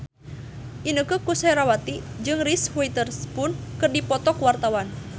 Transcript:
Inneke Koesherawati jeung Reese Witherspoon keur dipoto ku wartawan